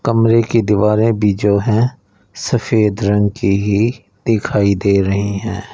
कमरे की दीवारें भी जो है सफेद रंग की ही दिखाई दे रही है।